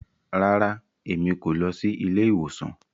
Rara, Èmí kò lọ sí ilé-ìwòsàn